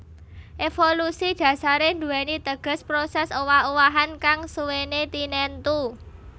Évolusi dhasaré nduwèni teges prosès owah owahan kang suwéné tinentu